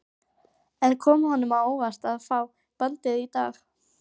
En kom honum á óvart að fá bandið í dag?